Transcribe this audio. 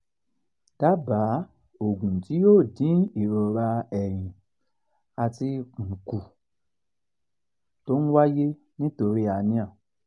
dábàá ògùn tí yóò dín ìrora ẹ̀yìn àti ikùn kù tó ń wáyé nítorí hernia